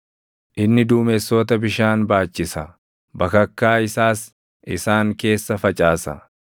Inni duumessoota bishaan baachisa; bakakkaa isaas isaan keessa facaasa.